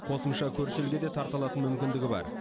қосымша көрші елге де тарта алатын мүмкіндігі бар